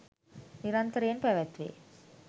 නිරන්තරයෙන් පැවැත්වේ.